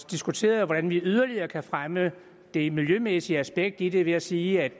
diskuteret hvordan vi yderligere kan fremme det miljømæssige aspekt i det ved at sige at